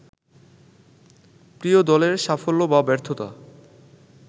প্রিয় দলের সাফল্য বা ব্যর্থতা